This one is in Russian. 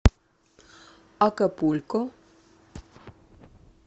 акапулько